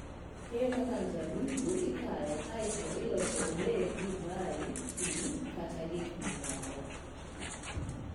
Keyo kaka mzabibu ikayo kae to ilose obed divai, pi, kata gik mamoko.